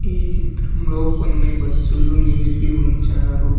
ఈ చిత్రంలో కొన్ని బస్సులు నిలిపి ఉంచారు.